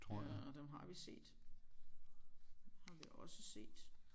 Ja og dem har vi set har vi også set